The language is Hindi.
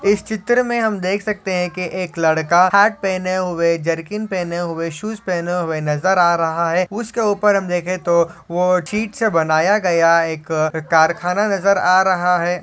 आप इस चित्र में हम देख सकते हैं कि एक लड़का हैट पहने हुए जरकिन पहने हुए शूज पहने हुए नजर आ रहा है उसके ऊपर हम देखे तो वो ठीक से बनाया गया एक अ कारखाना नजर आ रहा है।